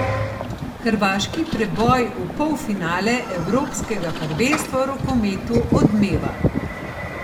Hrvaški preboj v polfinale evropskega prvenstva v rokometu odmeva.